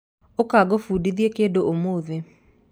ũka ngũbundithie kĩndũ ũmũthĩ.